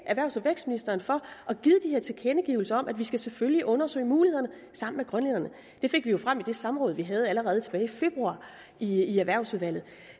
erhvervs og vækstministeren for at tilkendegivelser af at vi selvfølgelig skal undersøge mulighederne sammen med grønlænderne det fik vi jo frem i det samråd vi havde allerede tilbage i februar i erhvervsudvalget